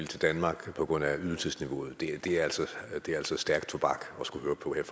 til danmark på grund af ydelsesniveauet det er altså stærk tobak at skulle høre på her